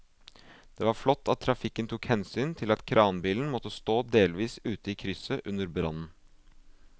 Det var flott at trafikken tok hensyn til at kranbilen måtte stå delvis ute i krysset under brannen.